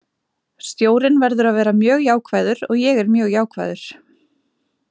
Stjórinn verður að vera mjög jákvæður og ég er mjög jákvæður.